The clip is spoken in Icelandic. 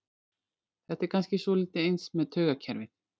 Þetta er kannski svolítið eins með taugakerfið.